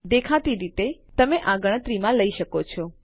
દેખીતી રીતે તમે આ ગણતરીમાં લઇ શકો છો